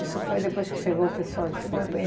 Isso foi depois que chegou o pessoal de fora?